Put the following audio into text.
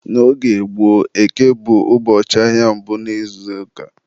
N'oge gboo, Eke bụ ụbọchị ahịa mbụ n'izuụka.